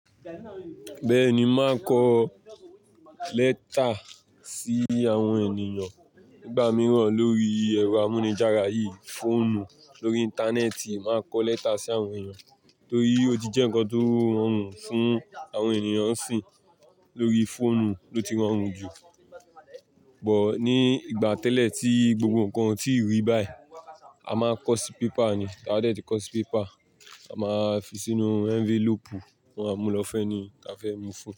Bẹ́ẹ̀ ni, máa kọ lẹ́tà sí àwọn ènìyàn nígbà mìíràn lórí ẹ̀rọ amúnijára yìí, fóònù, lórí Íńtánẹ́ẹ̀tì, máa kọ lẹ́tà sí àwọn ènìyàn torí ó ti jẹ́ nǹkan tó rọrùn fún àwọn ènìyàn nsinyì. Lórí fóònù ló ti rọrùn jù. Or ní ìgbà tẹ́lẹ̀ tí gbogbo nǹkan tí rí báyìí, a máa kọ sí pépà ni. Ka dé tí kọ sí pépà, a máa fi sínú ẹnvélòpù, mo àmúlófẹ́nì ni ka fẹ́ mú fún.